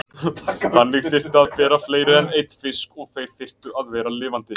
Þannig þyrfti að bera fleiri en einn fisk og þeir þyrftu að vera lifandi.